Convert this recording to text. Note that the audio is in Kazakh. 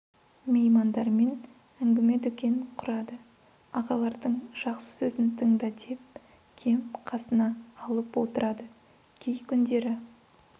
меймандармен ңгіме дүкен құрады ағалардың жақсы сөзін тыңда деп кем қасына алып отырады кей күндері